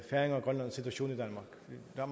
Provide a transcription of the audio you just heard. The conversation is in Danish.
så